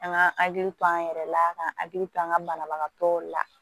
An ka hakili to an yɛrɛ la ka hakili to an ka banabagatɔ la